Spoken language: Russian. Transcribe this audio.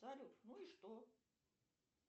салют ну и что